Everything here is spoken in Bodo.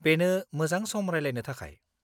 बेनो मोजां सम रायलायनो थाखाय।